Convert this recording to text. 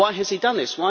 Why has he done this?